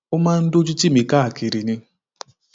ó máa ń dójú tì mí káàkiri ni